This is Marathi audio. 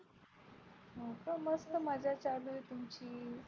हो का मस्त मजा चालू आहे तुमची.